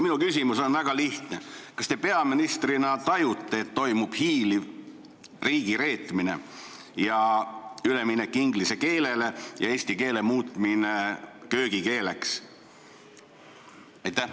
Minu küsimus on väga lihtne: kas te peaministrina tajute, et toimub hiiliv riigireetmine, üleminek inglise keelele ja eesti keele muutmine köögikeeleks?